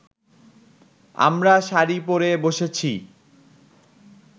আমরা শাড়ি পড়ে বসেছি